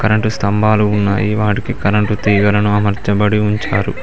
రెండు స్తంభాలు ఉన్నాయి వాటికి కరెంటు తీగలను అమర్చబడి ఉంచారు.